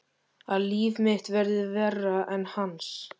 Að líf mitt verði verra án hans.